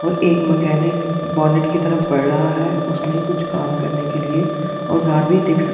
और एक mechanic bonnet की तरफ बढ़ रहा है उसमें कुछ काम करने के लिए औजार भी दिख सक--